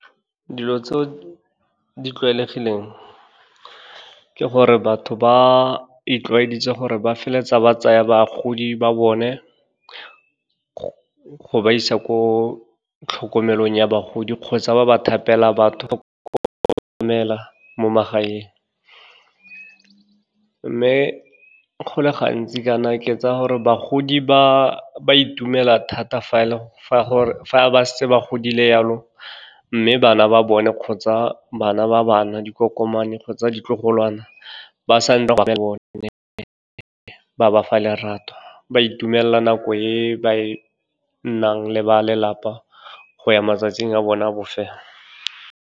Dilo tseo di tlwaelegileng ke gore batho ba itlwaedisitse gore ba feleletsa ba tsaya bagodi ba bone, go ba isa ko tlhokomelong ya bagodi kgotsa ba ba tlhapela batho romela mo magaeng. Mme go le gantsi kana ke tsa gore bagodi ba itumela thata fa ba setse ba godile jalo, mme bana ba bone kgotsa bana ba bana, dikokomane kgotsa ditlogolwana, ba sa le bone, ba bafa lerato, ba itumelela nako e ba nnang le ba lelapa, go ya matsatsing a bona a bofelo.